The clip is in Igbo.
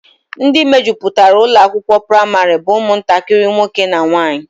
Ndị mejupụtara ụlọakwụkwọ praịmarị bụ ụmụntakịrị nwoke na nwaanyị